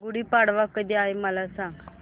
गुढी पाडवा कधी आहे मला सांग